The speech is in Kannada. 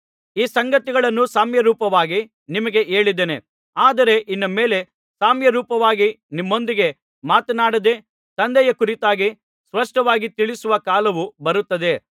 ಈ ಸಂಗತಿಗಳನ್ನು ಸಾಮ್ಯರೂಪವಾಗಿ ನಿಮಗೆ ಹೇಳಿದ್ದೇನೆ ಆದರೆ ಇನ್ನು ಮೇಲೆ ಸಾಮ್ಯರೂಪವಾಗಿ ನಿಮ್ಮೊಂದಿಗೆ ಮಾತನಾಡದೆ ತಂದೆಯ ಕುರಿತಾಗಿ ಸ್ಪಷ್ಟವಾಗಿ ತಿಳಿಸುವ ಕಾಲವು ಬರುತ್ತದೆ